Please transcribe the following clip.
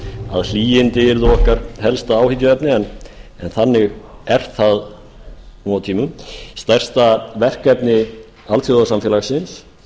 að hlýindi yrðu okkar helsta áhyggjuefni en þannig er það nú á tímum stærsta verkefni alþjóðasamfélagsins